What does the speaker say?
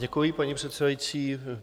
Děkuji, paní předsedající.